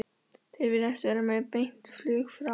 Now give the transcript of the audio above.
Þeir virðast vera með beint flug frá